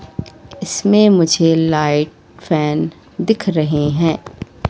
इसमें मुझे light fan दिख रहे हैं।